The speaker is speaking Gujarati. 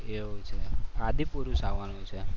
એવું છે? આદિ પુરુષ આવાનું છે.